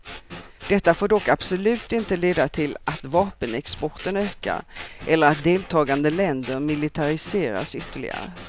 Detta får dock absolut inte leda till att vapenexporten ökar eller att deltagande länder militariseras ytterligare.